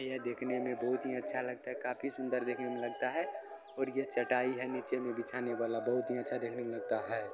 यह देखने में बहुत ही अच्छा लगता है काफी सुंदर देखने में लगता है और यह चटाई है नीचे में बिछाने वाला बहुत ही अच्छा देखने में लगता है।